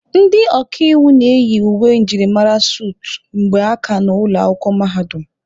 Ndị ọkaiwu na-eyi uwe njirimara suutu mgbe ha ka nọ ụlọ akwụkwọ mahadum